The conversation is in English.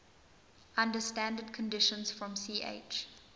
under standard conditions from ch